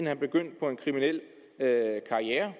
han begyndte på en kriminel karriere